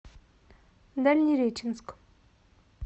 дальнереченск